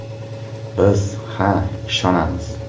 Biz ha, ishonamiz!